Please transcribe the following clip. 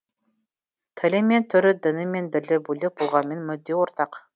тілі мен түрі діні мен ділі бөлек болғанымен мүдде ортақ